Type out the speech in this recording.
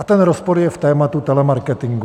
A ten rozpor je v tématu telemarketingu.